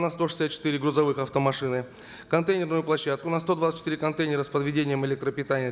на сто шестьдесят четыре грузовых автомашины контейнеруню площадку на сто двадцать четыре контейнера с подведением электропитания